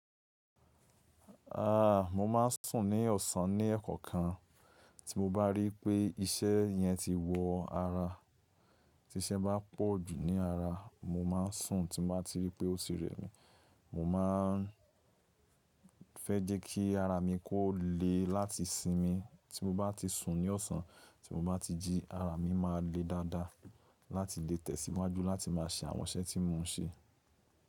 A, mo ma ń sùn ní ọ̀sán ní ẹ̀ẹkọ̀ kan, tí mo bá rí pé iṣẹ́ yẹn ti wọ ara. Ti iṣẹ́ bá pọ̀ jù ní ara, mo máa ń sùn. Ti mo bá ti rí pé ó ti rẹ mí, mo máa ń fẹ́ jẹ́ kí ara mi kó lé láti sinmi. Ti mo bá ti sùn ní ọ̀sán, tí mo bá ti jí, ara mi máa le dáadáa láti lè tẹ̀síwájú láti máa ṣe àwọn iṣẹ́ tí mo ń ṣe.